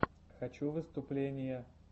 хочу выступления